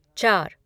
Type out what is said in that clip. चार